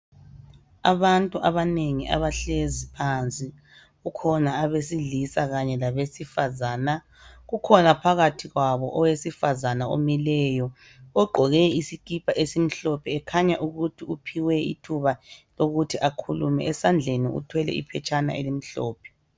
Abantu abanengi abahlezi phansi kukhona ebesilisa kanye labesifazana. Kukhona phakathi kwabo owesifazana omileyo ogqoke isikipa esimhlophe ekhanya ukuthi uphiwe ithuba lokuthi akhulume. Esandleni uthwele iphetshana elimhlophe.